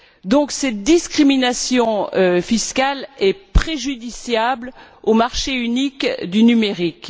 Donc cette discrimination fiscale est préjudiciable au marché unique du numérique.